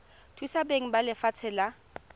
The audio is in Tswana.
thusa beng ba lefatshe la